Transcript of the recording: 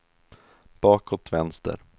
bakåt vänster